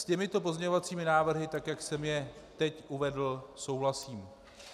S těmito pozměňovacími návrhy, tak jak jsem je teď uvedl, souhlasím.